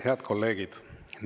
Head kolleegid!